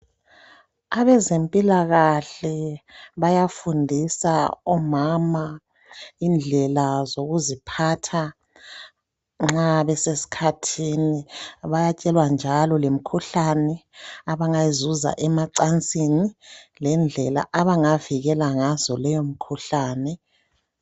Abezempilakahle bayafundisa omama indlela zokuziphatha nxa besesikhathini bayatshelwa njalo lemikhuhlane abangayizuza emacansini lendlela abangavikela ngazo leyomkhuhlane.